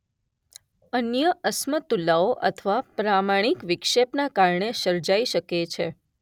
અન્ય અસમતુલાઓ અથવા પ્રામાણીક વિક્ષેપના કારણે સર્જાઈ શકે છે.